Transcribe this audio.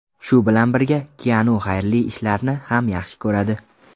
Shu bilan birga, Kianu xayrli ishlarni ham yaxshi ko‘radi.